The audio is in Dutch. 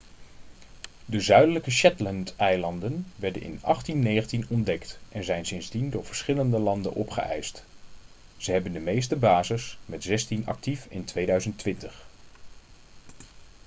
de zuidelijke shetlandeilanden werden in 1819 ontdekt en zijn sindsdien door verschillende landen opgeëist ze hebben de meeste bases met zestien actief in 2020